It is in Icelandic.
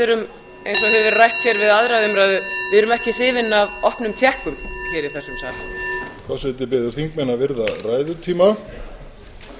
erum eins og hefur verið rætt hér við aðra umræðu við erum ekki hrifin af opnum tékkum hér í þessum sal forseti biður þingmenn að virða ræðutíma